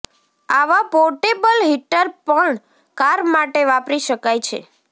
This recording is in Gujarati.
આવા પોર્ટેબલ હીટર પણ કાર માટે વાપરી શકાય છે